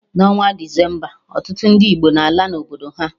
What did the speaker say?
Na onwa Decemba, ọtụtụ ndị Igbo n'ala obodo ha